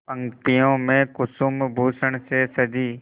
पंक्तियों में कुसुमभूषण से सजी